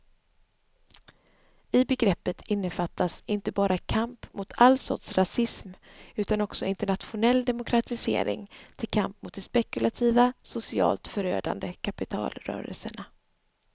I begreppet innefattas inte bara kamp mot all sorts rasism utan också internationell demokratisering till kamp mot de spekulativa, socialt förödande kapitalrörelserna.